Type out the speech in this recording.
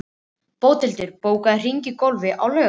Bóthildur, bókaðu hring í golf á laugardaginn.